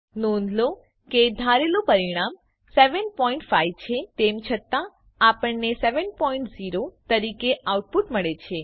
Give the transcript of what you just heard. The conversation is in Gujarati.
નોંધ લો કે ધારેલું પરિણામ 75 છે તેમ છતાં આપણને 70 તરીકે આઉટપુટ મળે છે